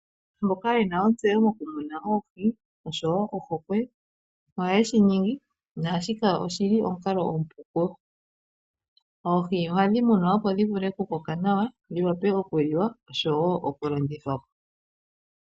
Aantu mboka ye na ontseyo mokumuna oohi noshowo ohokwe, ohayeshi ningi, naashika oshili omukalo omupu kuyo. Oohi ohadhi munwa opo dhi vule okukoka nawa, dhi wape okuliwa, noshowo okulandithwa po.